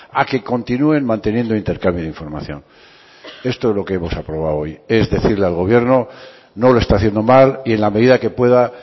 a que continúen manteniendo intercambio de información esto es lo que hemos aprobado hoy es decirle al gobierno no lo está haciendo mal y en la medida que pueda